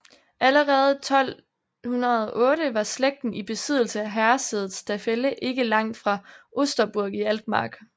Allerede 1208 var slægten i besiddelse af herresædet Staffelde ikke langt fra Osterburg i Altmark